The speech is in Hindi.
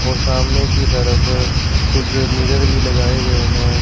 और सामने की तरफ कुछ मिरर भी लगाए गए हैं।